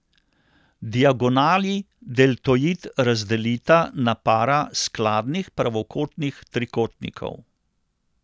Diagonali deltoid razdelita na para skladnih pravokotnih trikotnikov.